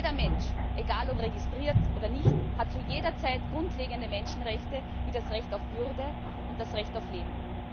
Jeder Mensch egal ob registriert oder nicht hat zu jeder Zeit grundlegende Menschenrechte wie das Recht auf Würde und das Recht auf Leben.